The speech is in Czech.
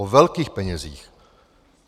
O velkých penězích.